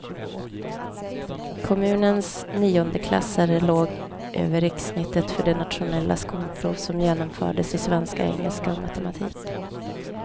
Kommunens niondeklassare låg över rikssnittet för det nationella skolprov som genomfördes i svenska, engelska och matematik.